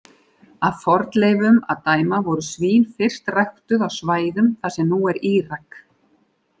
Af fornleifum að dæma voru svín fyrst ræktuð á svæðum þar sem nú er Írak.